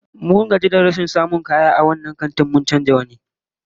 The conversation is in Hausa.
Mun gaji da rashin samun kaya a wannan babban kantin, mun canza wani